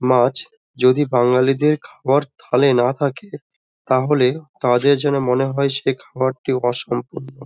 মাছ যদি বাঙালিদের খাবার থালায় না থাকে তাহলে তাদের জন্য মনে হয় সেই খাওয়ারটি অসম্পূর্ণ।